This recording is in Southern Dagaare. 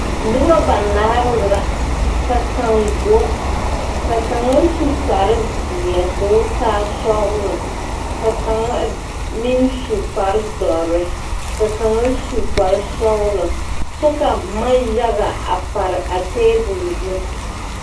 Noba banaare la ka kaŋ go ka kaŋa su kparezeɛ k,o taa sɔglɔ ka kaŋ meŋ su kparedɔre ka kaŋa su kparsɔglɔ kyɛ ka boma yaga a pare a tabol zu.